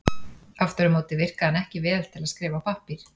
Aftur á móti virkaði hann ekki vel til að skrifa á pappír.